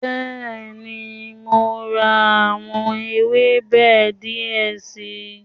Bẹ́ẹ̀ni, mo ra àwọn ewébẹ̀ die si